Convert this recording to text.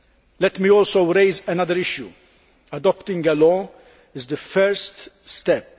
Let me also raise another issue adopting a law is the first step.